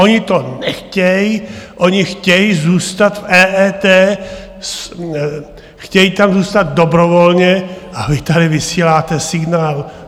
Oni to nechtějí, oni chtějí zůstat v EET, chtějí tam zůstat dobrovolně - a vy tady vysíláte signál!